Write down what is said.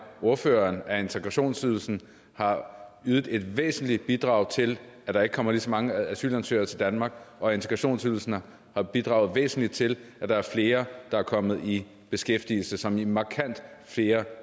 ordføreren at integrationsydelsen har ydet et væsentligt bidrag til at der ikke kommer lige så mange asylansøgere til danmark og at integrationsydelsen har bidraget væsentligt til at der er flere der er kommet i beskæftigelse som i markant flere